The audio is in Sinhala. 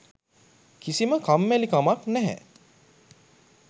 කිසිම කම්මැලිකමක් නැහැ.